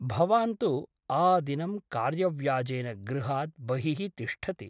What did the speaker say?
भवान् तु आदिनं कार्यव्याजेन गृहात् बहिः तिष्ठति ।